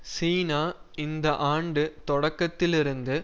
சீனா இந்த ஆண்டு தொடக்கத்திலிருந்து